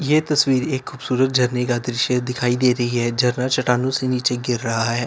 यह तस्वीर एक खूबसूरत झरने का दृश्य दिखाई दे रही है झरना चट्टानों से नीचे गिर रहा है।